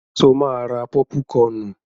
Ṣo máa ra pọ́púkọnù?